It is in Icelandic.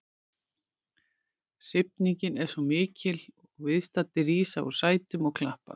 Hrifningin er svo mikil að viðstaddir rísa úr sætum og klappa.